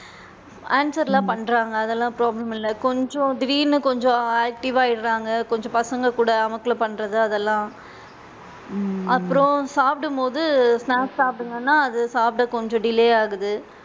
Answer லா பண்றாங்க அதலாம் problem இல்ல கொஞ்சம் தீடீர்னு கொஞ்சம் active வா ஆயிடுறாங்க கொஞ்சம் பசங்க கூட அமக்கலம் பண்றது அதலாம் அப்பறம் சாப்பிடும் போது snacks சாப்பிடுங்கனா, அது சாப்பிட கொஞ்சம் delay ஆகுது.